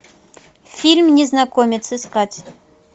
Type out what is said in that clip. фильм незнакомец искать